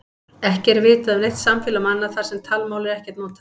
Ekki er vitað um neitt samfélag manna þar sem talmál er ekkert notað.